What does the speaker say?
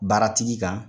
Baaratigi kan